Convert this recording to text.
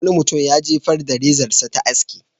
Wani mutum ya jefar da rezarsa ta aski.